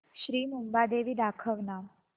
श्री मुंबादेवी दाखव ना